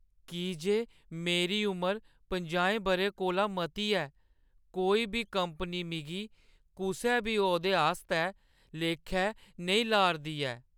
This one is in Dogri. की जे मेरी उमर पजाएं बʼरें कोला मती ऐ, कोई बी कंपनी मिगी कुसै बी औह्दे आस्तै लेखै नेईं ला 'रदी ऐ ।